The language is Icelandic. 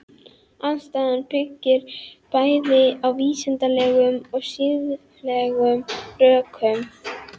Andstaðan byggir bæði á vísindalegum og siðfræðilegum rökum.